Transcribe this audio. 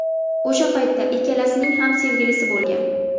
O‘sha paytda ikkalasining ham sevgilisi bo‘lgan.